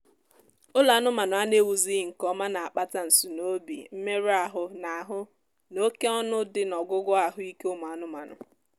ụlọ anụmaanụ a na-ewuzighị nkeọma na-akpata nsunoobi mmerụ ahụ na ahụ na oké ọnụ dị n'ọgwụgwọ ahụ ike ụmụ anụmaanụ